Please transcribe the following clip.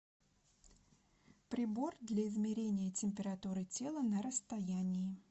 прибор для измерения температуры тела на расстоянии